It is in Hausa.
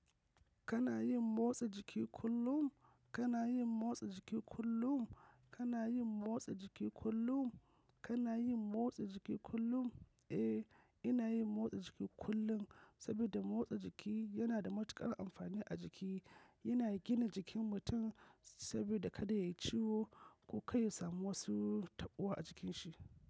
Kana yin motsa jiki kullum? Kana yin motsa jiki kullum? Kana yin motsa jiki kullum? Kana yin motsa jiki kullum? Eh, ina yin motsa jiki kullum, sabida motsa jiki yana da matuƙar amfani a jiki. Yana gina jikin mutum sabida kada yayi ciwo ko kar ya samu wasu taɓuwa a jikin shi.